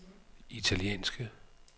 italienske